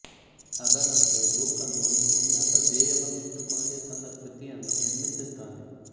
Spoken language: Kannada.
ಅದರಂತೆ ಲೂಕನು ಒಂದು ಉನ್ನತ ಧ್ಯೇಯವನ್ನಿಟ್ಟುಕೊಂಡೇ ತನ್ನ ಕೃತಿಯನ್ನು ನಿರ್ಮಿಸಿದ್ದಾನೆ